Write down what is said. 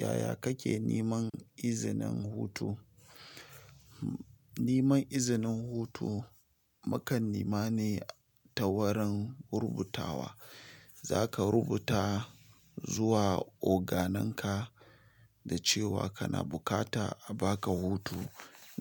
Yaya kake neman izinin hutu? Neman izinin hutu, mukan nema ne ta wurin rubutawa. Za ka rubuta zuwa oganenka da cewa kana bukata a ba ka hutu